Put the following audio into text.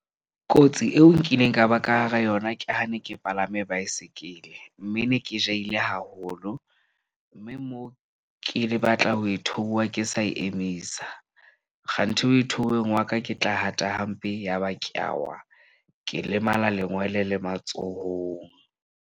Kotsi eo nkileng ka ba ka hara yona ke ha ne ke palame baesekele, mme ne ke jahile haholo. Mme moo ke le batla ho e theoha ke sa e emisa. Kganthi ho e theoweng wa ka ke tla hata hampe. Yaba ke a wa ke lemala lengwele le matsohong.